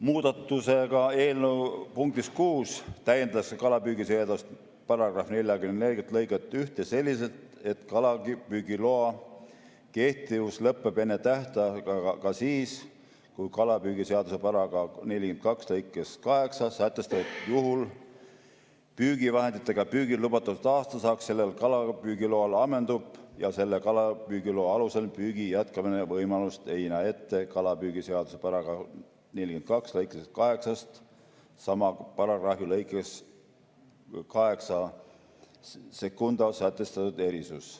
Muudatusega eelnõu punktis 6 täiendatakse kalapüügiseaduse § 44 lõiget 1 selliselt, et kalapüügiloa kehtivus lõpeb enne tähtaega ka siis, kui kalapüügiseaduse § 42 lõikes 8 sätestatud juhul püügivahenditega püügil lubatud aastasaak sellel kalapüügiloal ammendub ja selle kalapüügiloa alusel püügi jätkamise võimalust ei näe ette kalapüügiseaduse § 42 lõikest 81 sama paragrahvi lõikes 82 sätestatud erisus.